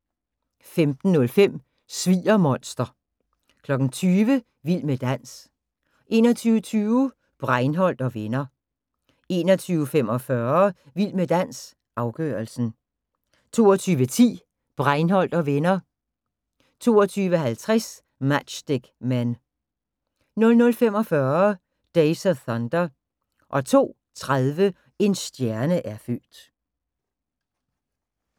15:05: Sviger-monster 20:00: Vild med dans 21:20: Breinholt & Venner 21:45: Vild med dans – afgørelsen 22:10: Breinholt & Venner 22:50: Matchstick Men 00:45: Days of Thunder 02:30: En stjerne er født